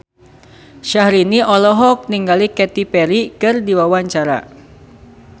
Syahrini olohok ningali Katy Perry keur diwawancara